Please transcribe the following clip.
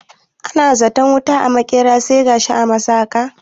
Ana zaton wuta a maƙera, sai ta tashi a masaƙa.